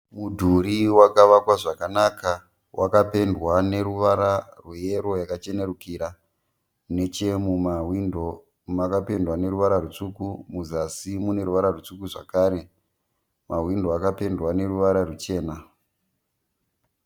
Mudhuri wakavakwa zvakanaka, wakapendwa neruvara rweyero yakachenurukira. Nechemumahwindo makapendwa neruvara rutsvuku. Muzasi mune ruvara rutsvuku zvekare. Mahwindo akapendwa neruvara ruchena.